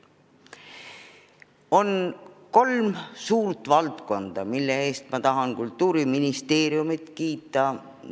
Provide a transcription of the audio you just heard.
On kolm suurt valdkonda, mille eest ma tahan Kultuuriministeeriumit kiita.